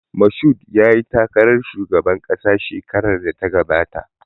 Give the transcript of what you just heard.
Mashood yayi takarar shugaban ƙasa shekarar da ta gabata